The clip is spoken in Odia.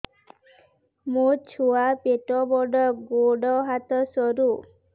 ମୋ ଛୁଆ ପେଟ ବଡ଼ ଗୋଡ଼ ହାତ ସରୁ